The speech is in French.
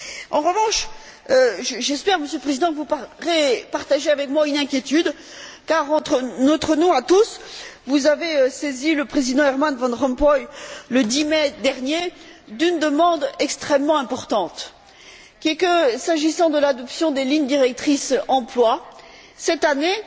En revanche, j'espère, Monsieur le Président, que vous partagez avec moi une inquiétude car, en notre nom à tous, vous avez saisi le président Herman von Rompuy, le 10 mai dernier, d'une demande extrêmement importante qui est la suivante. S'agissant de l'adoption des lignes directrices emploi, cette année,